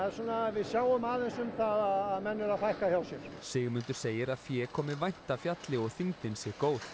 við sjáum aðeins um það að menn eru að fækka hjá sér Sigmundur segir að fé komi vænt af fjalli og þyngdin sé góð